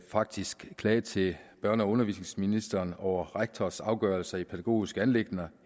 faktisk klage til børne og undervisningsministeren over rektors afgørelser i pædagogiske anliggender